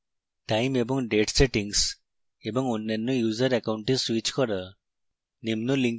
time এবং date settings এবং অন্যান্য user অ্যাকাউন্টে স্যুইচ করা